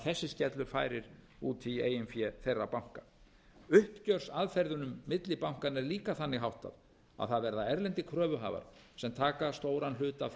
þessi skellur færir út í eigin fé þeirra banka uppgjörsaðferðunum milli bankanna er líka þannig háttað að það verða erlendir kröfuhafar sem taka stóran hluta af